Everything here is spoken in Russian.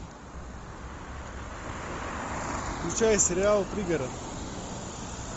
включай сериал пригород